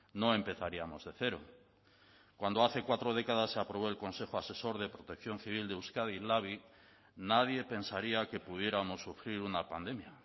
no empezaríamos de cero cuando hace cuatro décadas se aprobó el consejo asesor de protección civil de euskadi labi nadie pensaría que pudiéramos sufrir una pandemia